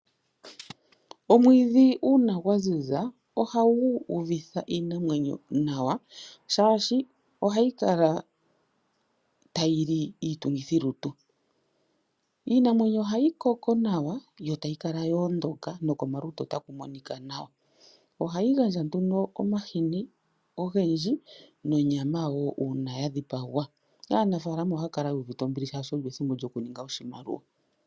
Omwiidhi uuna gwaziza ohagu uvitha iinamwenyo nawa, shaashi ohayi kala tayili iitungithi lutu , iinamwenyo ohayi koko nawa, yo tayi kala yoondoka komalutu takumonika nawa. Ohayi gandja nduno omahini ogendji nonyama woo uuna yadhipagwa , aanafalama ohaakala yuuvite ombili shaashi olyo ethimbo lyo kuninga oshimaliwa.